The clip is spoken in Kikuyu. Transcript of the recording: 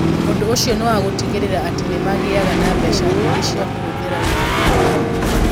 Ũndũ ũcio nĩ wa gũtigĩrĩra atĩ nĩ magĩaga na mbeca nyingĩ cia kũhũthĩra wĩra-inĩ wao.